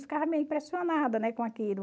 Ficava meio impressionada, né, com aquilo.